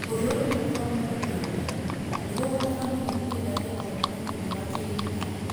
Gũthũrimwo kwa mũndũ kĩũmbe nĩgũgũtabanio nĩguo kũiga rekondi na nĩũndũ wa kĩririkano